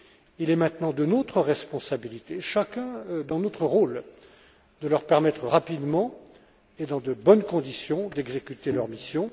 Il est maintenant de notre responsabilité, chacun dans notre rôle, de leur permettre d'exécuter rapidement et dans de bonnes conditions leur mission.